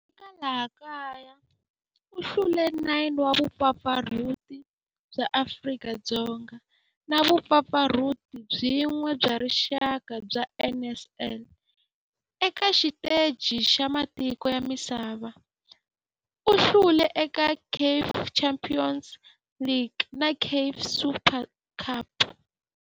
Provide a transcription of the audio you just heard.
Eka laha kaya u hlule 9 wa vumpfampfarhuti bya Afrika-Dzonga na vumpfampfarhuti byin'we bya rixaka bya NSL. Eka xiteji xa matiko ya misava, u hlule eka CAF Champions League na CAF Super Cup.